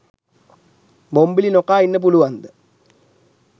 බොම්බිලි නොකා ඉන්න පුළුවන්ද?